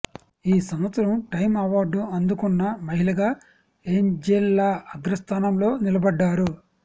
ఈ సంవత్సరం Time award అం దుకున్న మహిళగా ఏంజెలా అగ్రస్థానంలో నిలబడ్డారు